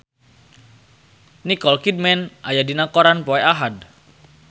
Nicole Kidman aya dina koran poe Ahad